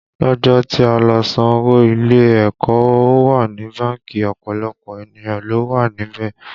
Lọ́jọ́ tí a lọ san owó ilé ẹ̀kọ́ ọ wa ní báńkì, ọ̀pọ̀lọpọ̀ ènìyàn ló wà níbẹ̀